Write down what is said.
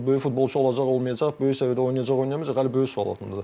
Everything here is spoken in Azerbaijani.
Bu böyük futbolçu olacaq, olmayacaq, böyük səviyyədə oynayacaq, oynamayacaq hələ böyük sual altındadır.